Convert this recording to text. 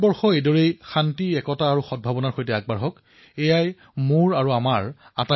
নতুন ভাৰতে এই ভাৱনাক আঁকোৱালি শান্তি একতা আৰু সদভাৱনাৰ সৈতে আগবাঢ়ক এয়াই মোৰ কামনা সকলোৰে কামনা